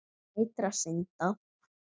Sætra synda.